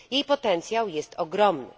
Jej potencjał jest ogromny.